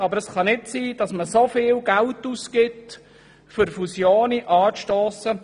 Doch es kann nicht sein, dass der Kanton Bern so viel Geld ausgibt, um Fusionen anzustossen.